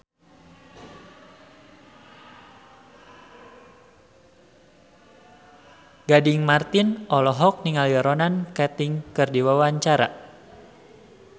Gading Marten olohok ningali Ronan Keating keur diwawancara